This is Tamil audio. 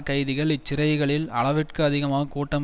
கைதிகள் இச்சிறைகளில் அளவிற்கு அதிகமாக கூட்டம்